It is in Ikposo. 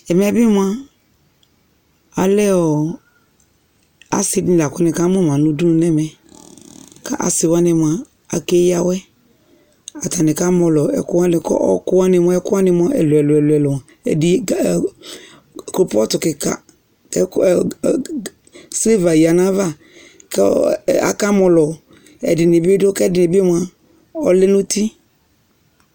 Ɛmɛ bɩ mʋa alɛ ɔ asɩ dɩnɩ lakʋ nɩka mʋma nʋ ʋdʋnʋ nɛmɛ kasɩwanɩ mʋa akeyawɛ atanɩ kamɔlɔ ɛkʋwanɩ kʋ ɔkʋ wanɩ mʋ ɛkʋwanɩ mʋa ɛlʋ ɛlʋ ɛlʋ ɛdɩ kloƒɔtʋ kɩka silva ya nayava kakamɔlɔ ɛdɩnɩbɩ dʋ ƙɛ ɛdɩ bɩ mʋa ɔlɛ nʋ ʋti